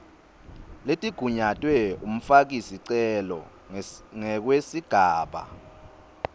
letigunyatwe umfakisicelo ngekwesigaba